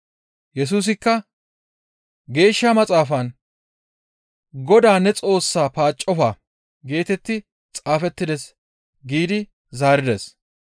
Yesusikka, «Geeshsha Maxaafan, ‹GODAA ne Xoossaa paaccofa› geetetti xaafettides» giidi zaarides.